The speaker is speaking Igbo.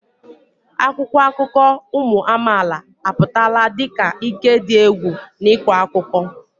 Akwụkwọ akụkọ ụmụ amaala apụtala dị ka ike dị egwu n'ịkọ akụkọ.